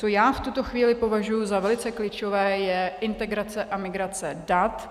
Co já v tuto chvíli považuji za velice klíčové, je integrace a migrace dat.